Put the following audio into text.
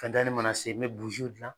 Fɛntɛni mana se n bɛ dilan.